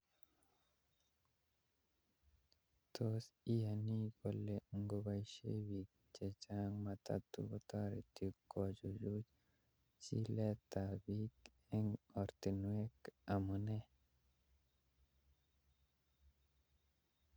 Tos iyani kole ngoboishe biik chechang matatu kotoreti kochuchu chiletabke eng oratinwek amunee